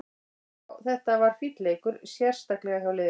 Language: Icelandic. Já, þetta var fínn leikur, sérstaklega hjá liðinu.